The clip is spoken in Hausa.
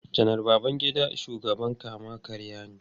Janar Babangida shugaban kama-karya ne.